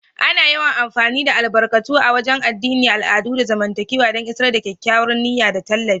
Ana yawan amfani da albarkatu a wagen addini, al'adu, da zamantakewa don isar da kyakkyawar niyya da tallafi.